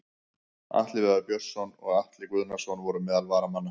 Atli Viðar Björnsson og Atli Guðnason voru meðal varamanna.